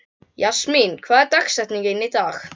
Jasmín, hver er dagsetningin í dag?